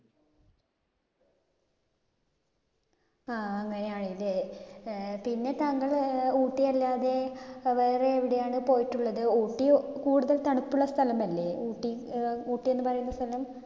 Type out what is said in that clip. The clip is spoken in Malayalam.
ആഹ് അങ്ങിനെയാണല്ലേ. ഏർ പിന്നെ താങ്കള് ഊട്ടിയല്ലാതെ അഹ് വേറെയെവിടെയാണ് പോയിട്ടുള്ളത്? ഊട്ടി കൂടുതൽ തണുപ്പുള്ള സ്ഥലമല്ലേ. ഊട്ടി ഏർ ഊട്ടി എന്നുപറയുന്ന സ്ഥലം?